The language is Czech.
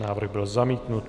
Návrh byl zamítnut.